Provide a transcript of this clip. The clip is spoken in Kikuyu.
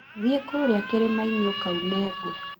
Thiĩ kũrĩa kĩrĩmainĩ ũkaune ngũ